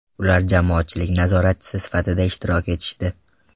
Ular jamoatchilik nazoratchisi sifatida ishtirok etishdi.